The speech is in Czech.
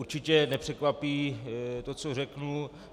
Určitě nepřekvapí to, co řeknu.